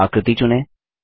आकृति चुनें